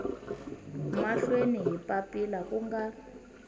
mahlweni hi papila ku nga